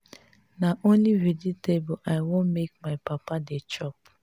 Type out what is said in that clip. na only vegetable i want make my papa dey chop